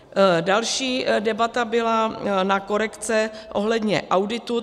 Další debata byla na korekce ohledně auditu.